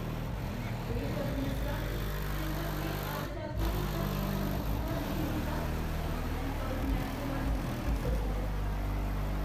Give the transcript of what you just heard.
हे परमेसरा, जेकर में अज्ज राती तक्कर एह् कम्म पूरा नेईं कीता, तां मिगी कल्ल मैम कोला निक्खर पेई सकदी ऐ ।